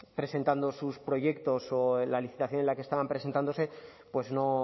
presentando sus proyectos o la licitación en la que estaban presentándose pues no